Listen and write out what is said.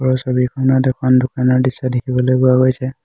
আৰু ছবিখনত এখন দোকানৰ দৃশ্য দেখিবলৈ পোৱা গৈছে।